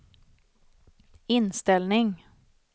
inställning